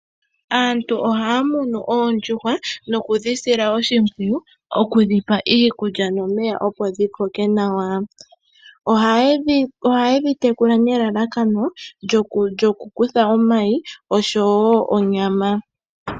Aantu ohaya munu oondjuhwa nokudhi sila oshimpwiyu, okudhi pa iikulya nomeya opo dhi koke nawa. Ohayedhi tekula nelalakano lyoku kutha omayi oshowo onyama.